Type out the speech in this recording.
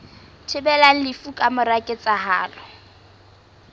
thibelang lefu ka mora ketsahalo